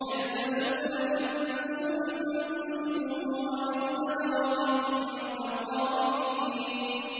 يَلْبَسُونَ مِن سُندُسٍ وَإِسْتَبْرَقٍ مُّتَقَابِلِينَ